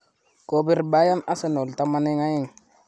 Kobir Beryern Arsenal taman eng aeng